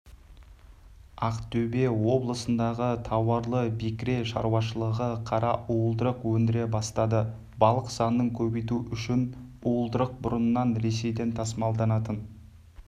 ақтөбе облысындағы тауарлы-бекіре шаруашылығы қара уылдырық өндіре бастады балық санын көбейту үшін уылдырық бұрын ресейден тасымалданатын